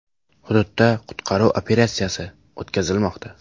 Hududda qutqaruv operatsiyasi o‘tkazilmoqda.